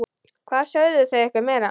Hvað sögðu þau ykkur meira?